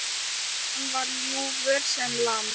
Hann var ljúfur sem lamb.